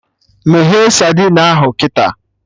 Meghee sadin ahụ kịta!